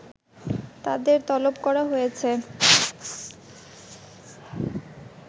তাদের তলব করা হয়েছে